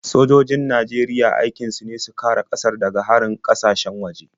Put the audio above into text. Sojojin Najeriya aikin su ne su kare ƙasar daga harin ƙasashen waje.